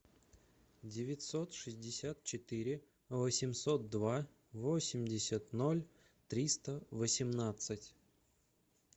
девятьсот шестьдесят четыре восемьсот два восемьдесят ноль триста восемнадцать